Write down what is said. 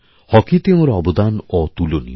হকিতে ওঁরঅবদান অতুলনীয়